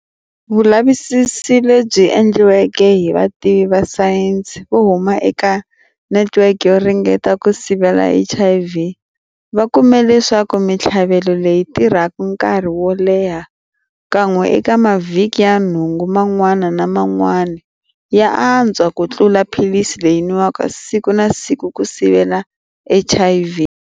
Vulavisisi lebyi endliweke hi vativi va sayense vo huma eka Netiweke yo Ringeta ku Sivela HIV va kume leswaku mitlhavelo leyi tirhaka nkarhi wo leha kan'we eka mavhiki ya nhungu man'wana na man'wana ya atswa ku tlula philisi leyi nwiwaka siku na siku ku sivela HIV.